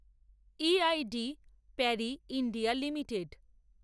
E. I. D Parry India limited